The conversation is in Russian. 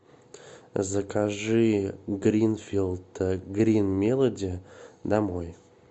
закажи гринфилд грин мелоди домой